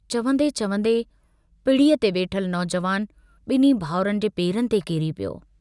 चवन्दे-चवन्दे पिड़ीअ ते वेठल नौजवान बिन्हीं भाउरनि जे पेरनि ते किरी पियो।